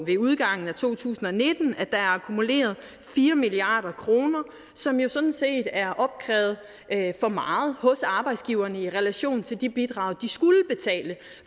ved udgangen af to tusind og nitten at der er akkumuleret fire milliard kr som jo sådan set er opkrævet for meget hos arbejdsgiverne i relation til de bidrag de skulle betale